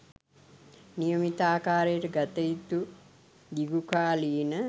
නියමිත ආකාරයට ගතයුතු දිගු කාලීන